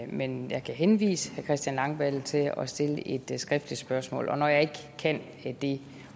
men jeg kan henvise herre christian langballe til at stille et skriftligt spørgsmål og når jeg ikke kan det